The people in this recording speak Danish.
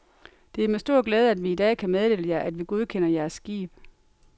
Det er med stor glæde, at vi i dag kan meddele jer, at vi godkender jeres skib.